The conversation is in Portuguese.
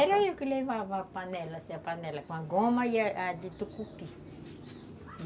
Era eu que levava a panela, assim, a panela com a goma e a a de tucupi.